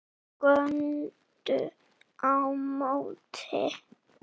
Þeir góndu á móti.